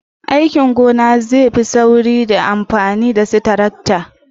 aikin gona zai yi sauri da amfani da su tarakta